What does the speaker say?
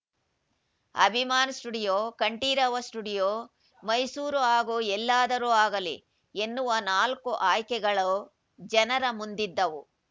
Abhiman studio Kanteerava studio Mysuru ಹಾಗೂ ಎಲ್ಲಾದರೂ ಆಗಲಿ ಎನ್ನುವ ನಾಲ್ಕು ಆಯ್ಕೆಗಳು ಜನರ ಮುಂದಿದ್ದವು